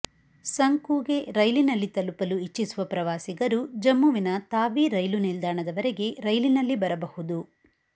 ಸಂಕೂಗೆ ರೈಲಿನಲ್ಲಿ ತಲುಪಲು ಇಚ್ಛಿಸುವ ಪ್ರವಾಸಿಗರು ಜಮ್ಮು ವಿನ ತಾವಿ ರೈಲು ನಿಲ್ದಾಣದವರೆಗೆ ರೈಲಿನಲ್ಲಿ ಬರಬಹುದು